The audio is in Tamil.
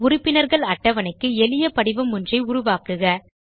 உறுப்பினர்கள் அட்டவணைக்கு எளிய படிவம் ஒன்றை உருவாக்குக